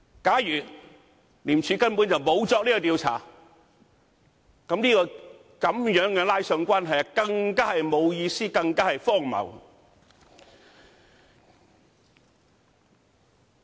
假如廉署根本沒有作出調查，這樣扯上關係更是沒有意思、更荒謬。